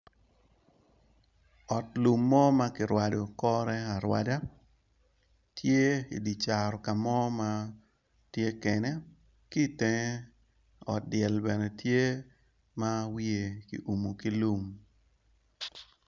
Ot lum mo makirwado kore arwada tye i caro kamo ma tye kene ki tenge ot dyel bene tye ma wiye kiwumo kilum.